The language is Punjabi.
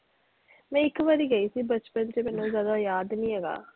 ਨਹੀਂ ਇੱਕ ਵਾਰੀ ਗਈ ਸੀ ਬਚਪਨ ਚ ਮੈਨੂੰ ਜਿਆਦਾ ਯਾਦ ਨਹੀਂ ਹੈਗਾ।